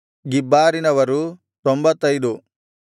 ಗಿಬ್ಬಾರಿನವರು 95